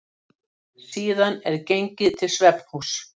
Síðan er gengið til svefnhúss.